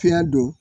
Fiɲɛ don